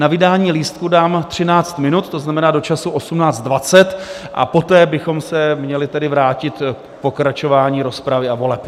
Na vydání lístků dám 13 minut, to znamená do času 18.20, a poté bychom se tedy měli vrátit k pokračování rozpravy a voleb.